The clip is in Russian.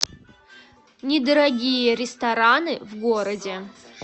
недорогие рестораны в городе